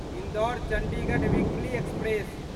Indore Chandigarh weekly express